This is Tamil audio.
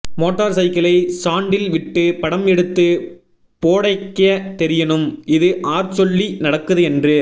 மோட்டார் சைக்கிளை ஸாண்ட்டில் விட்டு படம் எடுத்து போடேக்கயே தெரியணும் இது ஆர் சொல்லி நடக்குது என்று